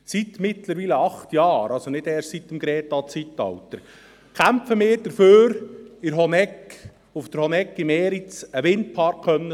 Seit mittlerweile acht Jahren, also nicht erst seit dem Greta-Zeitalter, kämpfen wir dafür, auf der Honegg, im Eriz, einen Windpark bauen zu können.